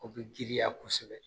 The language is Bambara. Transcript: O bɛ girinya kosɛbɛ